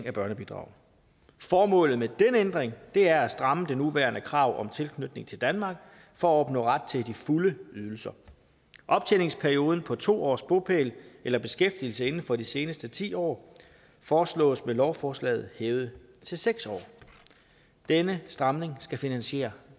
af børnebidrag formålet med den ændring er at stramme det nuværende krav om tilknytning til danmark for at opnå ret til de fulde ydelser optjeningsperioden på to års bopæl eller beskæftigelse inden for de seneste ti år foreslås med lovforslaget hævet til seks år denne stramning skal finansiere